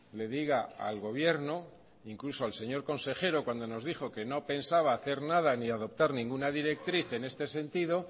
le diga al gobierno incluso al señor consejero cuando nos dijo que no pensaba hacer nada ni adoptar ninguna directriz en este sentido